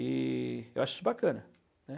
E eu acho isso bacana, né.